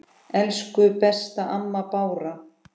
Elsku besta amma Bára.